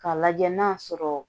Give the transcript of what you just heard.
K'a lajɛ n'a sɔrɔ